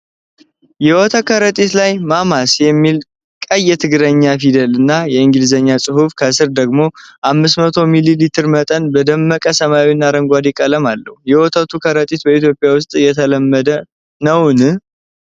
የወተት ከረጢት ላይ "ማማስ" የሚል ቀይ የትግርኛ ፊደል እና የእንግሊዝኛ ጽሁፍ፣ ከስር ደግሞ የ500 ሚሊ ሊትር መጠን በደማቅ ሰማያዊና አረንጓዴ ቀለም አለው። የወተቱ ከረጢት በኢትዮጵያ ውስጥ የተለመደ ነውን?